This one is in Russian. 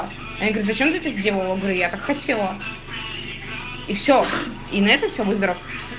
а я говорю зачем ты это сделала я так хотела и все и на этом все будь здоров